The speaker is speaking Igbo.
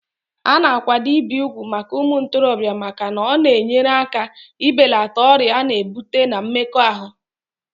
Ana akwado ibi ùgwù màkà umuntorobia màkà na ọ na enyere aka i belata ọrịa ana ebute na mmekọ.